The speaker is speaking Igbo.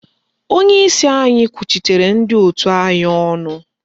Onyeisi anyị kwuchitere ndị òtù anyị ọnụ